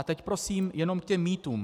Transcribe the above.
A teď prosím jenom k těm mýtům.